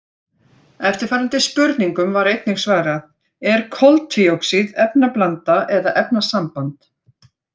Eftirfarandi spurningum var einnig svarað: Er koltvíoxíð efnablanda eða efnasamband?